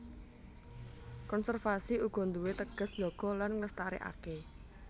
Konservasi uga nduwé teges njaga lan nglestarékaké